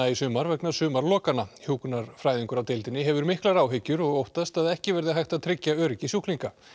í sumar vegna sumarlokana hjúkrunarfræðingur á deildinni hefur miklar áhyggjur og óttast að ekki verði hægt að tryggja öryggi sjúklinga